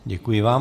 Děkuji vám.